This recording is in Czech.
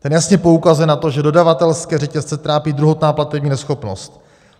Ten jasně poukazuje na to, že dodavatelské řetězce trápí druhotná platební neschopnost.